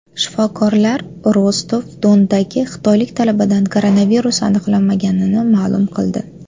Shifokorlar Rostov-Dondagi xitoylik talabadan koronavirus aniqlanmaganini ma’lum qildi.